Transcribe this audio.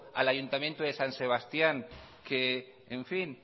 al ayuntamiento de san sebastián que